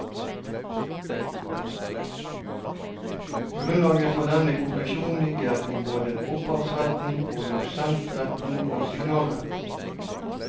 Grunnlaget for denne konklusjonen ligger i både opphavsretten, produsentretten og signalretten.